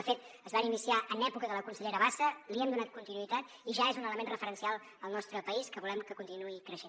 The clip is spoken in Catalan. de fet es van iniciar en època de la consellera bassa li hem donat continuïtat i ja és un element referencial al nostre país que volem que continuï creixent